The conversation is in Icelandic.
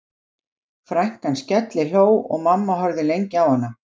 Eins gátu steinar og önnur kennileiti, sem miðað var við, hreyfst úr stað.